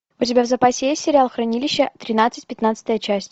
у тебя в запасе есть сериал хранилище тринадцать пятнадцатая часть